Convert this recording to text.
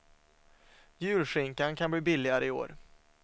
Julskinkan kan bli billigare i år.